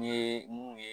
N ye mun ye